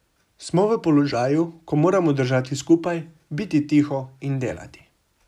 Smo v položaju, ko moramo držati skupaj, biti tiho in delati.